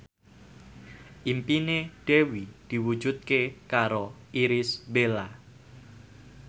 impine Dewi diwujudke karo Irish Bella